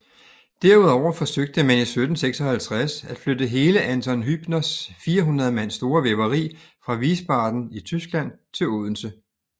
Derudover forsøgte man i 1756 at flytte hele Anton Hübners 400 mand store væveri fra Wiesbaden i Tyskland til Odense